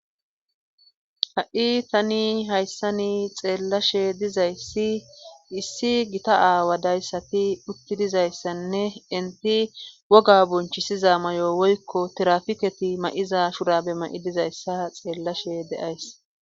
ha7i tani hayssani xeellashe dizayssi issi gita aawadayssati utti dizayssanne inti woga bonchisiza may7o woykko tirafiketi ma7iza shurabe ma7i dizayssa xeellashe deays